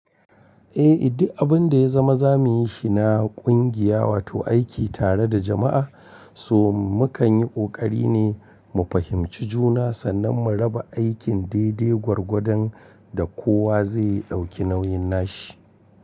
Eh, idan abun da ya zama za mu yi shi na kungiya, wato aiki tare da jama'a, so mu kan yi ƙoƙari ne mu fahimci juna sannan mu raba aikin daidai gwargwadon da kowa zai ɗauki nauyin nashi.